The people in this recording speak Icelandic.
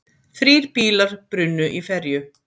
Þrír bílar brunnu í ferju